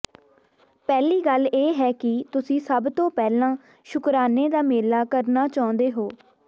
ਪਹਿਲੀ ਗੱਲ ਇਹ ਹੈ ਕਿ ਤੁਸੀਂ ਸਭ ਤੋਂ ਪਹਿਲਾਂ ਸ਼ੁਕਰਾਨੇ ਦਾ ਮੇਲਾ ਕਰਨਾ ਚਾਹੁੰਦੇ ਹੋ